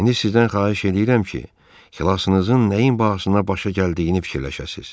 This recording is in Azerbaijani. İndi sizdən xahiş eləyirəm ki, xilasınızın nəyin bahasına başa gəldiyini fikirləşəsiz.